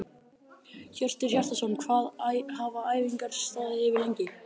Hjörtur Hjartarson: Hvað hafa æfingar staðið yfir lengi?